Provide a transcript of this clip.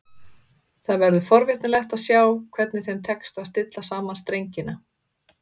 Það verður forvitnilegt að sjá hvernig þeim tekst að stilla saman strengina.